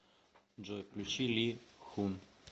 джой включи ли хун